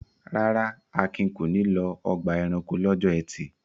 Rárá, Akin kò ní lọ ọgbà-ẹranko lọ́jọ́ ẹtì.